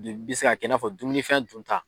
bɛ se ka kɛ i n'a fɔ dumunifɛn dunta.